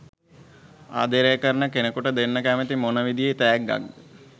ආදරේ කරන කෙනෙකුට දෙන්න කැමති මොන විදියේ තෑග්ගක්ද?